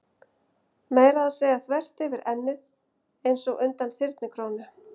Meira að segja þvert yfir ennið, einsog undan þyrnikórónu.